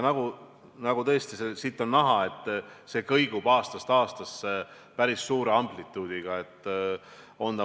Ja nagu siit on näha, see kõigub aastast aastasse päris suure amplituudiga.